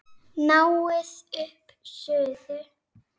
Náið upp suðu.